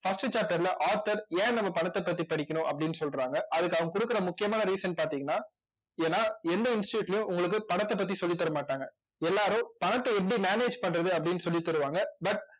first chapter ல author ஏன் நம்ம பணத்தைப் பத்தி படிக்கணும் அப்படின்னு சொல்றாங்க அதுக்கு அவங்க கொடுக்கிற முக்கியமான reason பார்த்தீங்கன்னா ஏன்னா எந்த institute லயும், உங்களுக்கு பணத்தைப் பத்தி சொல்லித் தரமாட்டாங்க எல்லாரும் பணத்தை எப்படி manage பண்றது அப்படின்னு சொல்லித்தருவாங்க